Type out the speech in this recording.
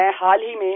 मैं हाल ही में